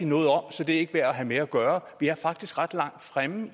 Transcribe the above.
noget om så det er ikke værd at have med at gøre vi er faktisk ret lang fremme og